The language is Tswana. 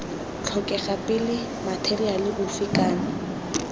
tlhokega pele matheriale ofe kana